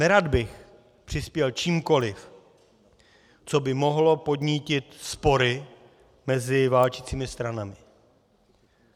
Nerad bych přispěl čímkoliv, co by mohlo podnítit spory mezi válčícími stranami.